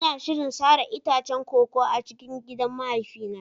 Ina shirin sare itacen koko a cikin gidan mahaifina.